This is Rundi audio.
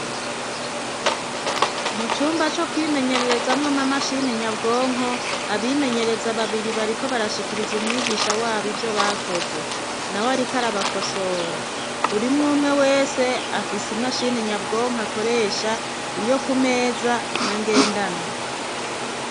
Mu cumba co kwimenyererezamwo ma mashine nyabwonko abimenyereza babiri bariko barashikiriza umwigisha wabo ivyo bakoze na we, ariko arabakosora burimwo umwe wese afise imashini nyabwonko akoresha iyo ku meza n'angendanwa.